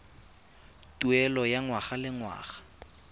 tuelo ya ngwaga le ngwaga